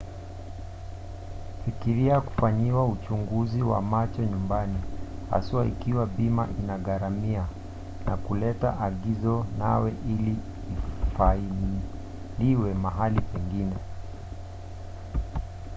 fikiria kufanyiwa uchunguzi wa macho nyumbani haswa ikiwa bima inaugharamia na kuleta agizo nawe ili lifailiwe mahali pengine